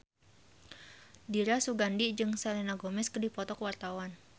Dira Sugandi jeung Selena Gomez keur dipoto ku wartawan